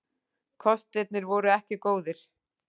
Kostirnir voru ekki góðir.